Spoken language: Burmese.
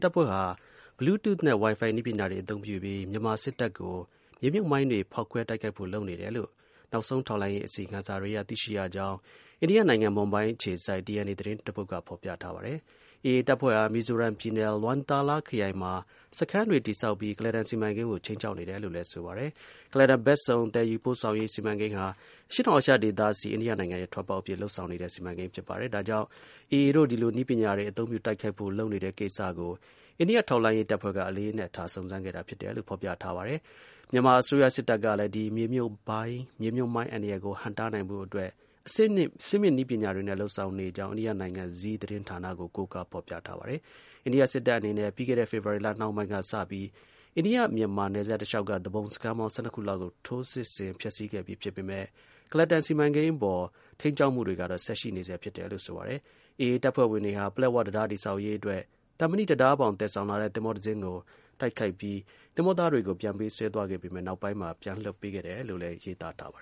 တပ်ဖွဲ့ဟာ Bluetooth နဲ့ Wi-Fi နည်းပညာတွေကို အသုံးပြုပြီး မြန်မာစစ်တပ်ကို မြေမြှုပ်မိုင်းတွေ ဖေါက်ခွဲတိုက်ခိုက်ဖို့ လုပ်နေတယ် လို့နောက်ဆုံး ထောက်လှမ်းရေး အစီရင်ခံစာတွေအရ သိရှိရကြောင်း အိန္ဒိယနိုင်ငံ မွန်ဘိုင်းမြို့အခြေစိုက် DNA သတင်းတပုဒ်က ဖေါ်ပြထား ပါတယ်။ AA တပ်ဖွဲ့ဟာ မီဇိုရမ်းပြည်နယ် LwangTaLa ခရိုင်မှာ စခန်းတွေ တည်ဆောက်ပြီး ကုလားတန်စီမံကိန်းကို ခြိမ်းခြောက်နေတယ်လို့လည်း ဆိုပါတယ်။ ကုလားတန်ဘက်စုံ သယ်ယူပို့ဆောင်ရေး စီမံကိန်းဟာ အရှေ့တောင်အာရှဒေသဆီ အိန္ဒိယနိုင်ငံရဲ့ ထွက်ပေါက်အဖြစ် လုပ်ဆောင်နေတဲ့ စီမံကိန်းဖြစ်ပါတယ်။ ဒါကြောင့် AA တို့ ဒီလိုနည်းပညာတွေ အသုံးပြုတိုက်ခိုက်ဖို့ လုပ်နေတဲ့ကိစ္စကို အိန္ဒိယထောက်လှမ်းရေး တပ်ဖွဲ့က အလေးနက်ထား စုံစမ်းခဲ့တာ ဖြစ်တယ်လို့ ဖေါ်ပြထားပါတယ်။ မြန်မာအစိုးရစစ်တပ်ကလည်း ဒီမြေမြှုပ်မိုင်း အန္တရာယ်ကို ဟန့်တားနိုင်ဖို့အတွက် အဆင့်မြင့် နည်းပညာတွေနဲ့ လုပ်ဆောင်နေကြောင်း အိန္ဒိယနိုင်ငံ Zee သတင်းဌာနကို ကိုးကားဖေါ်ပြထားပါတယ်။ အိန္ဒိယ စစ်တပ်အနေနဲ့ ပြီးခဲ့တဲ့ ဖေဖေါ်ဝါရီလ နှောင်းပိုင်းကစပြီး အိန္ဒိယ-မြန်မာ နယ်စပ်တလျှောက်က သူပုန်စခန်းပေါင်း (၁၂)ခုလောက်ကို ထိုးစစ်ဆင် ဖျက်ဆီးခဲ့ပြီ ဖြစ်ပေမယ့် ကုလားတန်စီမံကိန်း အပေါ် ထိန်းကျောင်းမှုတွေကတော့ ဆက်ရှိနေဆဲ ဖြစ်တယ်လို့ ဆိုပါတယ်။ AA တပ်ဖွဲ့ဝင်တွေဟာ ပလက်ဝတံတား တည်ဆောက်ရေးအတွက် သံမဏိတံတားဘောင် သယ်ဆောင်လာတဲ့ သင်္ဘောတစီးကို တိုက်ခိုက်ပြီး သင်္ဘောသားတွေကို ပြန်ပေးဆွဲသွား ခဲ့ပေမယ့် နောက်ပိုင်းမှာ ပြန်လွှတ်ပေးခဲ့တယ်လို့လည်း ရေးသားထားပါ